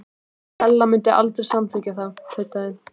Stella mundi aldrei samþykkja það- tautaði